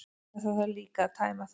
En það þarf líka að tæma þær.